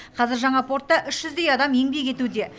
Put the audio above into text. қазір жаңа портта үш жүздей адам еңбек етуде